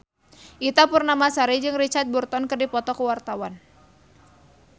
Ita Purnamasari jeung Richard Burton keur dipoto ku wartawan